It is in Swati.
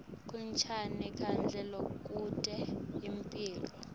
kuncane kudla lokute imphilo